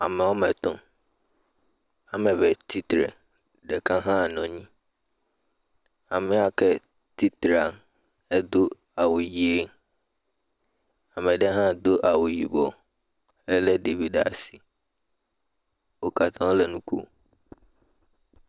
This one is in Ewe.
ame wɔmetɔ̃ wɔmeve tsitsre ɖeka hã nɔ nyi ame yake titrea edó awu yi ameɖe hã dó awu yibɔ éle ɖevi ɖasi wókatã wóle nu kom